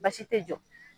Baasi tɛ